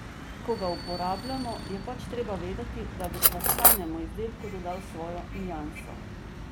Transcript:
Ko ga uporabljamo, je pač treba vedeti, da bo sladkanemu izdelku dodal svojo nianso.